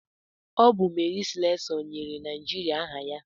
Ọ bụ Mary Slessọ nyere Naijiria aha ya.